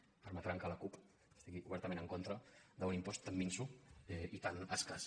deuen permetre que la cup estigui obertament en contra d’un impost tan minso i tan escàs